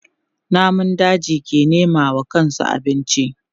Namun daji ke nema wa kansu abinci.